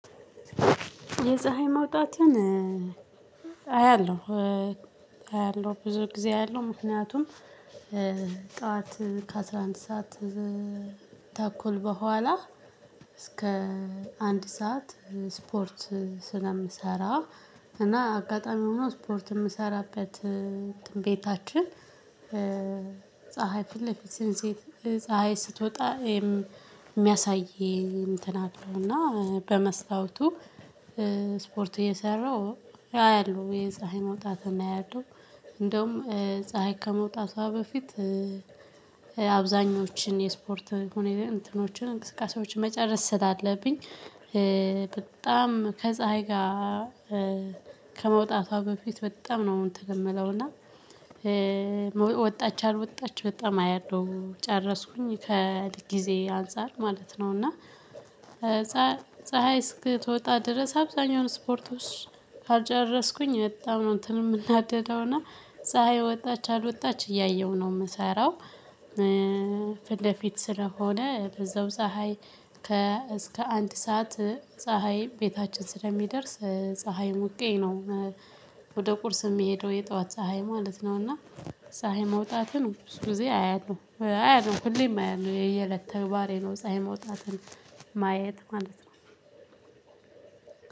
የፀሀይ መውጣትን አያለሁ አያለሁ ብዙ ጊዜ አያለሁ ምክንያቱም ጠዋት ከአስራ አንድ ሰዓት ተኩል በኋላ እስከ አንድ ሰዓት ስፖርት ስለምሰራ እና አጋጣሚ ሆኖ ስፖርት የምሰራበት ቤታችን ፀሀይ ፊት ለፊት ስንሴት ፀሀይ ስትወጣ የሚያሳይ እንትን አለውና በመስታወቱ ስፖርት እየሰራሁ አያለሁ የፀሀይ መውጣት አያለሁ። እንደውም ፀሀይ ከመውጣቷ በፊት አብዛኞችን የስፖርት እንትኖችን እንቅስቃሴዎችን መጨረስ ስላለብኝ በጣም ከፀሀይ ጋር ከመውጣቷ በፊት በጣም ነው እንትን የምለውና። ወጣች አልወጣች በጣም አያለሁ ጨረስኩኝ ከጊዜ አንፃር ማለት ነው። እና ፀሀይ እስክትወጣ ድረስ አብዛኛውን ስፖርቶች ካልጨረስኩኝ በጣም ነው እንትን የምናደደውና ፀሀይ ወጣች አልወጣች እያየሁ ነው የምሰራው። ፊት ለፊት ስለሆነ በዛው ፀሀይ ከ እስከ አንድ ሰዓት ፀሀይ ቤታችን ስለሚደርስ ፀሀይ ሙቄ ነው። ወደ ቁርስ የምሄደው የጠዋት ፀሀይ ማለት ነው። እና ፀሀይ መውጣትን ብዙ ጊዜ አያለሁ አያለሁ ሁሌም አይደለም የየለት ተግባሬ ነው ፀሀይ መውጣትን ማየት ማለት ነው።